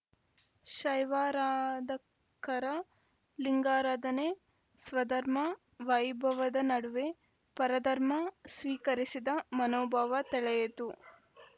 ಶೈವಾರಾಧಕರ ಲಿಂಗಾರಾಧನೆ ಸ್ವಧರ್ಮ ವೈಭವದ ನಡುವೆ ಪರಧರ್ಮ ಸ್ವೀಕರಿಸಿದ ಮನೋಭಾವ ತೆಳೆಯಿತು